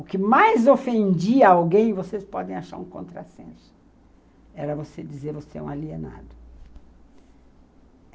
O que mais ofendia alguém, vocês podem achar um contrassenso, era você dizer você é um alienado.